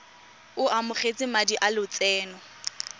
o amogetse madi a lotseno